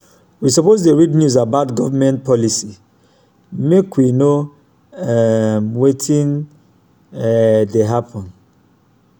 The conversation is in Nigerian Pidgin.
we suppose dey read news about government policy make we know um wetin um dey happen.